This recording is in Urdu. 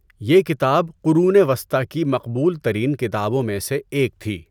یہ کتاب قرون وسطی کی مقبول ترین کتابوں میں سے ایک تھی۔